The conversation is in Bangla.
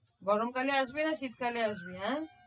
গরমকালে আসবি না শীতকালে আসবি?